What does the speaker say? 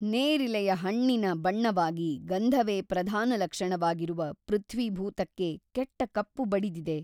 ನೇರಿಲೆಯ ಹಣ್ಣಿನ ಬಣ್ಣವಾಗಿ ಗಂಧವೇ ಪ್ರಧಾನಲಕ್ಷಣವಾಗಿರುವ ಪೃಥ್ವೀಭೂತಕ್ಕೆ ಕೆಟ್ಟ ಕಪ್ಪು ಬಡಿದಿದೆ.